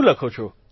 શું લખો છો